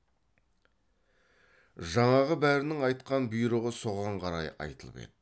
жаңағы бәрінің айтқан бұйрығы соған қарай айтылып еді